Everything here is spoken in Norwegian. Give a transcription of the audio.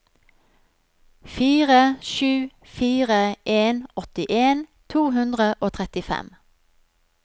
fire sju fire en åttien to hundre og trettifem